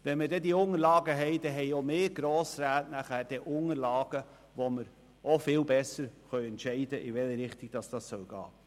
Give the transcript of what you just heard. Wenn dann die Unterlagen vorliegen, dann haben auch wir Grossräte Unterlagen, gestützt auf welche wir viel besser entscheiden können, in welche Richtung es gehen soll.